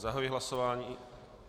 Zahajuji hlasování...